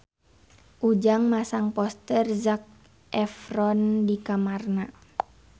Ujang masang poster Zac Efron di kamarna